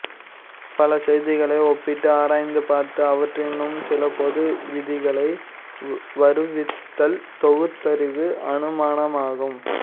பல செய்திகளை ஒப்பிட்டு ஆராய்ந்து பார்த்து அவற்றினின்றும் சில பொது விதிகளை வருவித்தல் தொகுத்தறி அனுமானமாகும்